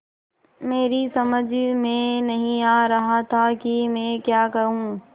मेरी समझ में नहीं आ रहा था कि मैं क्या कहूँ